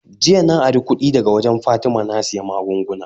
Jiya na ari kudi daga wurin fatima na siya maggunguna